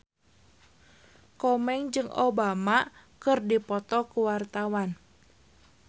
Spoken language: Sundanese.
Komeng jeung Obama keur dipoto ku wartawan